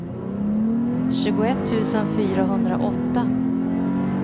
tjugoett tusen fyrahundraåtta